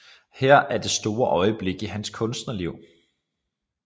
Her er det store øjeblik i hans kunstnerliv